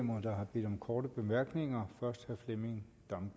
hundrede million kroner vil